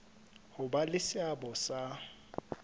ho ba le seabo sa